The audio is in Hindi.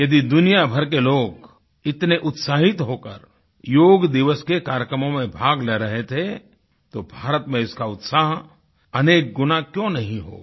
यदि दुनिया भर के लोग इतने उत्साहित होकर योग दिवस के कार्यक्रमों में भाग ले रहे थे तो भारत में इसका उत्साह अनेक गुना क्यों नहीं होगा